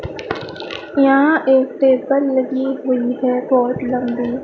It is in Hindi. यहां एक पेपर लगी हुईं हैं बहोत लंबी।